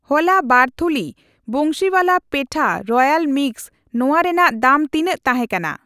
ᱦᱚᱞᱟ ᱵᱟᱨ ᱛᱷᱩᱞᱤ ᱠᱚ ᱵᱟᱱᱥᱤᱣᱟᱞᱟ ᱯᱮᱛᱷᱟ ᱨᱚᱭᱟᱞ ᱢᱤᱠᱥ ᱱᱚᱣᱟ ᱨᱮᱱᱟᱜ ᱫᱟᱢ ᱛᱤᱱᱟᱜ ᱛᱟᱦᱮᱠᱟᱱᱟ?